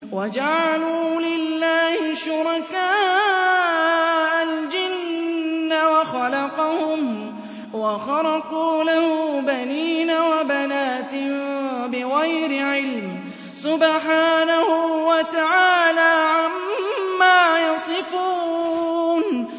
وَجَعَلُوا لِلَّهِ شُرَكَاءَ الْجِنَّ وَخَلَقَهُمْ ۖ وَخَرَقُوا لَهُ بَنِينَ وَبَنَاتٍ بِغَيْرِ عِلْمٍ ۚ سُبْحَانَهُ وَتَعَالَىٰ عَمَّا يَصِفُونَ